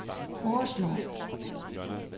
foreslår